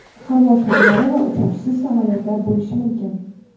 havo sharlari va uchuvchisiz samolyotlar bo‘lishi mumkin.